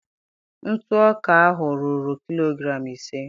ntụ ọka ahụ ruru kilogram ise.